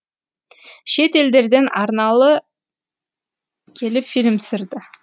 шет елдерден арналы келіп фильм түсірді